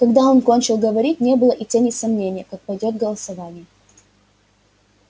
когда он кончил говорить не было и тени сомнения как пойдёт голосование